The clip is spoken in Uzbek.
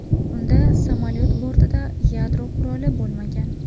Unda samolyot bortida yadro quroli bo‘lmagan.